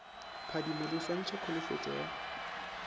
phadimo le swantšha kholofetšo ya